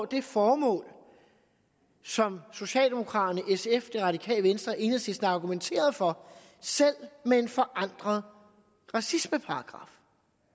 det formål som socialdemokraterne sf det radikale venstre og enhedslisten argumenterede for selv med en forandret racismeparagraf